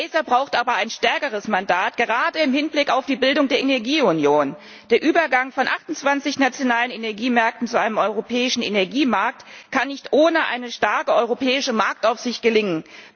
ACER braucht aber ein stärkeres Mandat, gerade im Hinblick auf die Bildung der Energieunion. Der Übergang von 28 nationalen Energiemärkten zu einem europäischen Energiemarkt kann nicht ohne eine starke europäische Marktaufsicht gelingen.